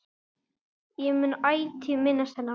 Ég mun ætíð minnast hennar.